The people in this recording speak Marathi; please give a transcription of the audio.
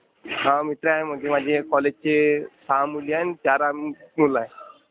हा, मित्र आहेत म्हणजे माझ्या कॉलेजचे सहा मुली आहेत आणि चार आम्ही मुलं आहोत.